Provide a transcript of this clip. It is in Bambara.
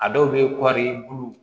A dɔw bɛ kɔɔri bulu